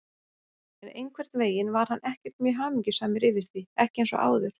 En einhvern veginn var hann ekkert mjög hamingjusamur yfir því, ekki eins og áður.